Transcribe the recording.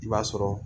I b'a sɔrɔ